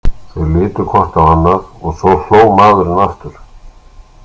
Þau litu hvort á annað og svo hló maðurinn aftur.